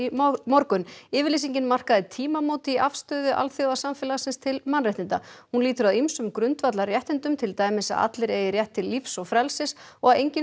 morgun yfirlýsingin markaði tímamót í afstöðu alþjóðasamfélagsins til mannréttinda hún lýtur að ýmsum grundvallarréttindum til dæmis að allir eigi rétt til lífs og frelsis og að enginn